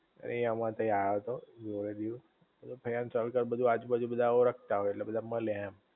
એ અમારે તય આયો તો જોડે દીવ આયા સર્કલ બધુ આજુ બાજુ બધા ઓળખતા હોય ઍટલે બધા મલે એમ